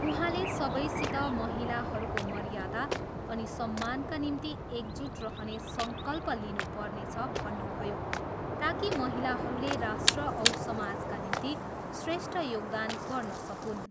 उहाँले सबैसित महिलाहरूको मर्यादा अनि सम्मानका निम्ति एकजुट रहने सङ्कल्प लिनु पर्नेछ भन्नुभयो ताकि महिलाहरूले राष्ट्र औ समाजका निम्ति श्रेष्ठ योगदान गर्न सकून्।